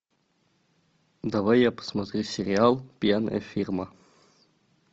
давай я посмотрю сериал пьяная фирма